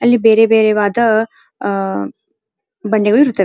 ಅಲ್ಲಿ ಬೇರೆ ಬೇರೆ ವದ ಬಂಡೆಗಳು ಇರುತ್ತವೆ.